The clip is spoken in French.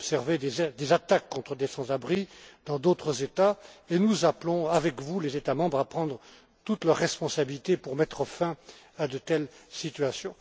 Nous avons observé des attaques contre des sans abris dans d'autres États et nous appelons, avec vous, les États membres à prendre toutes leurs responsabilités pour mettre fin à de telles situations.